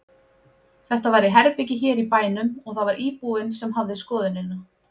Þetta var í herbergi hér í bænum og það var íbúinn sem hafði skoðunina.